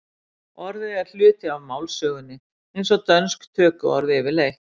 orðið er hluti af málsögunni eins og dönsk tökuorð yfirleitt